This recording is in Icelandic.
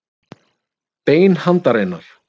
Bein handarinnar.